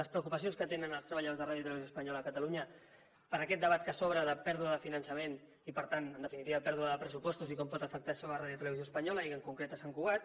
les preocupacions que tenen els treballadors de radiotelevisió espanyola a catalunya per aquest debat que s’obre de pèrdua de finançament i per tant en definitiva pèrdua de pressupostos i com pot afectar això a radiotelevisió espanyola i en concret a sant cugat